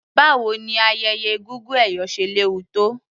Báwo ni ayẹyẹ egúngún ẹ̀yọ̀ ṣe léwu tó.